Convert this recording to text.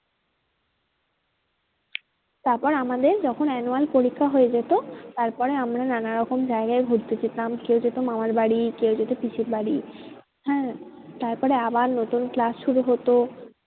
তারপরে আমাদের যখন annual পরীক্ষা হয়ে যেত তারপরে আমরা নানান রকম জায়গায় ঘুরতে যেতাম। কেউ যেত মামার বাড়ি কেউ যেত পিসির বাড়ি হ্যাঁ তারপরে আবার নতুন class শুরু হতো